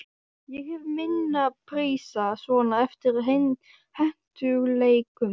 Ég hef mína prísa svona eftir hentugleikum.